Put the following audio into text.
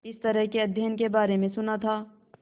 इस तरह के अध्ययन के बारे में सुना था